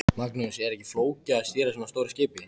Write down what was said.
Magnús: Er ekkert flókið að stýra svona stóru skipi?